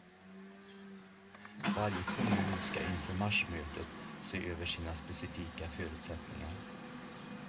Varje kommun ska inför marsmötet se över sina specifika förutsättningar.